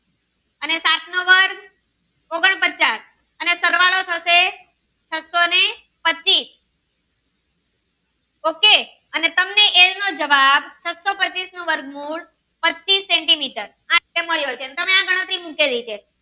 પચાસ સરવાળો થશે છસો ને પચીસ ok તમને એલ નો જવાબ છસો પચીસ નું વર્ગમૂળ પચીસ sentimitar આ મળ્યો છે તમે આ ગણતરી મુકેલી છે